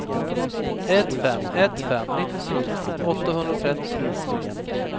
ett fem ett fem nittiotvå åttahundratrettio